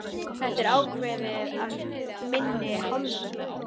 Þetta er ákveðið af minni hálfu!